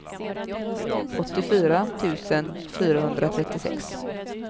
åttiofyra tusen fyrahundratrettiosex